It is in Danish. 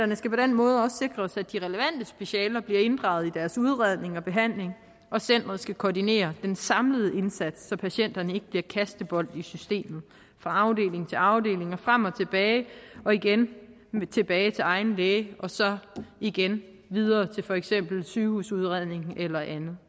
måde også sikres at de relevante specialer bliver inddraget i deres udredning og behandling og centrene skal koordinere den samlede indsats så patienterne ikke bliver kastebolde i systemet fra afdeling til afdeling og frem og tilbage så igen tilbage til egen læge og så igen videre til for eksempel sygehusudredning eller andet